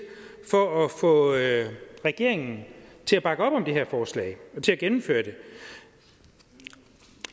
for at få regeringen til at bakke op om det her forslag og til at gennemføre det